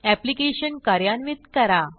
application कार्यान्वित करा